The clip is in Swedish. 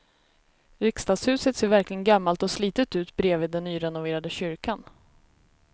Riksdagshuset ser verkligen gammalt och slitet ut bredvid den nyrenoverade kyrkan.